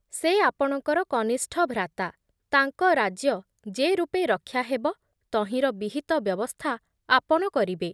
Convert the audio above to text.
ସେ ଆପଣଙ୍କର କନିଷ୍ଠ ଭ୍ରାତା, ତାଙ୍କ ରାଜ୍ୟ ଯେ ରୂପେ ରକ୍ଷା ହେବ ତହିଁର ବିହିତ ବ୍ୟବସ୍ଥା ଆପଣ କରିବେ ।